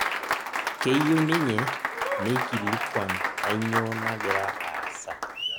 keyieu ninye neikilikuan kanyoo nagira aasa